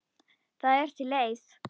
Það er til leið.